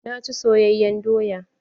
Na ci soyayen doya.